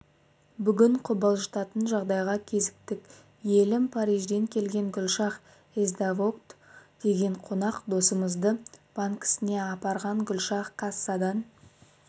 бүгін қобалжытатын жағдайға кезіктік йелім парижден келген гүлшах есдавокт деген қонақ досымызды банкісіне апарған гүлшах кассадан